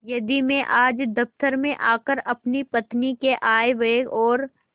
यदि मैं आज दफ्तर में आकर अपनी पत्नी के आयव्यय और